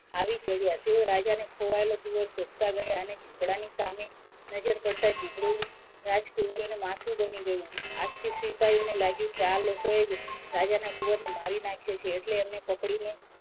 આવી ચડ્યાં તેઓ રાજાને ખોવાયેલો કુવર શોધતાં ગયાં અને ચીભડા સામે નજર પડતાં ચીભડું રાજ કુવરોનું માથું બની ગયું. આથી સિપાઈઓને લાગ્યું કે આ લોકોએ જ રાજાના રાજકુવરને મારી નાખ્યો છે. એટલે એમને પકડીને,